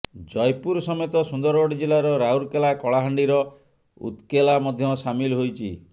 ଜୟପୁର ସମେତ ସୁନ୍ଦରଗଡ ଜିଲ୍ଲାର ରାଉରକେଲା କଳାହାଣ୍ଡିର ଉତ୍କେଲା ମଧ୍ୟ ସାମିଲ ହୋଇଛି